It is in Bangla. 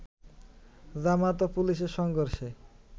জামায়াত ও পুলিশের সংঘর্ষে